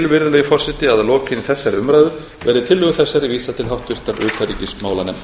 virðulegi forseti að að lokinni þessari umræðu verði tillögu þessari vísað til háttvirtrar utanríkismálanefndar